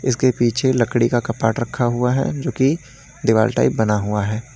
इसके पीछे लकड़ी का कपबोर्ड रखा हुआ है जो कि दीवार टाइप बना हुआ है।